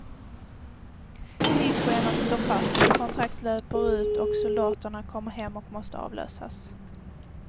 Tidsschemat står fast, kontrakt löper ut och soldaterna kommer hem och måste avlösas.